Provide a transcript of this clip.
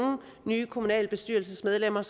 nye kommunalbestyrelsesmedlemmer